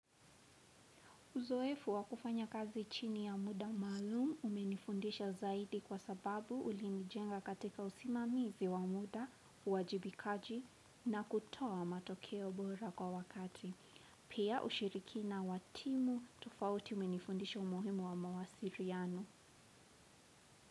Uzoefu wa kufanya kazi chini ya muda maalum umenifundisha zaidi kwa sababu ulinijenga katika usimamizi wa muda, uajibikaji na kutoa matokeo bora kwa wakati. Pia ushirikina wa timu tofauti umenifundisha umuhimu wa mawasiriano.